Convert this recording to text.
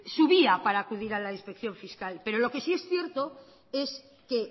vía para acudir a la inspección fiscal pero lo que sí es cierto es que